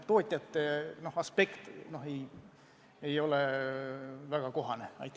Tootjate aspekt ei olnud meil põhiaspekt.